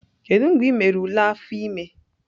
Kedu mgbe ị mere ule afọ ime?